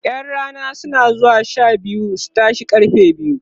ƴan Rana na zuwa Sha biyu su tashe karfe biyar